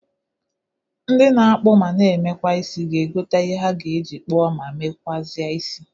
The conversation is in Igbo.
Ndi na-akpụ ma na emekwa isi ga egota ihe ha ga-eji kpụọ ma mekwụazị isi.